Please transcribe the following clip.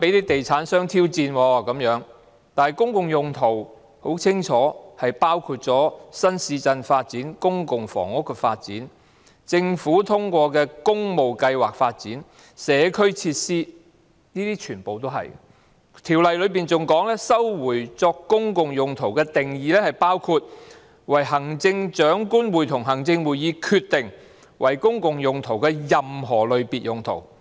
但很清楚，公共用途包括新市鎮發展、公共房屋發展、政府通過的工務計劃發展及社區設施，這些全部也是公共用途；《條例》更訂明收回作公共用途的定義包括"為行政長官會同行政會議決定為公共用途的任何類別用途......